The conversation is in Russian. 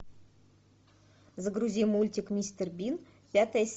загрузи мультик мистер бин пятая серия